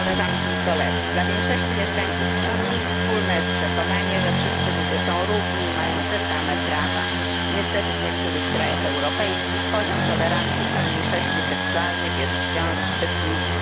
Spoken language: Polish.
Dla większości mieszkańców Unii wspólne jest przekonanie, że wszyscy ludzie są równi i mają te same prawa. Niestety w niektórych krajach europejskich poziom tolerancji dla mniejszości seksualnych jest wciąż zbyt niski.